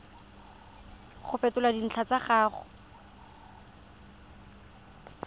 go fetola dintlha tsa gago